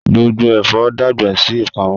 Gbongbo ẹfọ dagba si ipamo.